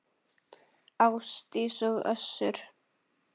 Ásdís og Össur.